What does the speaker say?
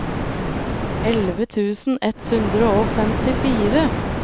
elleve tusen ett hundre og femtifire